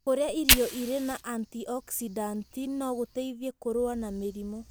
Kũrĩa irio irĩ na antioxidant no gũteithie kũrũa na mĩrimũ.